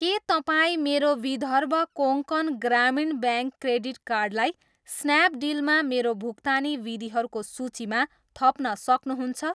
के तपाईँ मेरो विदर्भ कोङ्कण ग्रामीण ब्याङ्क क्रेडिट कार्डलाई स्न्यापडिलमा मेरो भुक्तानी विधिहरूको सूचीमा थप्न सक्नुहुन्छ?